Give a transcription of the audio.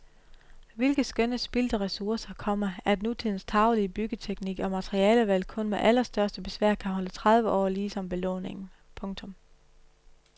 Hvilke skønne spildte ressourcer, komma at nutidens tarvelige byggeteknik og materialevalg kun med allerstørste besvær kan holde tredive år lige som belåningen. punktum